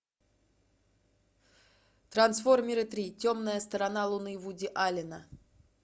трансформеры три темная сторона луны вуди аллена